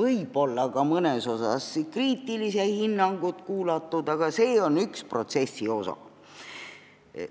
võib-olla ka mõnes mõttes kriitilised hinnangud ära kuulatud, aga see on üks protsessi osa.